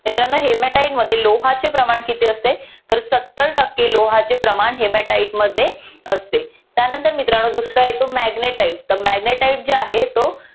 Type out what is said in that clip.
मित्रांनो hematite मध्ये लोहाचे प्रमाण किती असते तर सत्तर टक्के लोहाचे प्रमाण hematite मध्ये असते त्यानंतर मित्रानो दुसरा येतो magnetite तर magnetite जे आहे तो